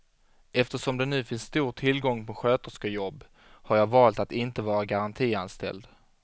Eftersom det nu finns stor tillgång på sköterskejobb, har jag valt att inte vara garantianställd.